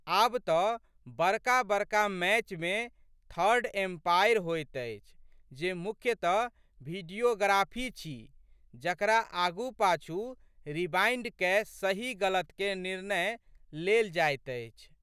आब तऽ बड़काबड़का मैचमे थर्ड एम्पायर होइत अछि जे मुख्यतः भिडियोग्राफी छी जकरा आगूपाछू रिबाइन्ड कए सही गलतके निर्णय लेल जाइत अछि।